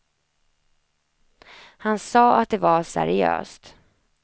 Han sade att det var seriöst.